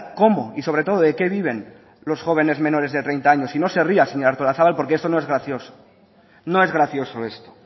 cómo y sobre todo de qué viven los jóvenes menores de treinta años y no se ría señora artolazabal porque eso no es gracioso no es gracioso esto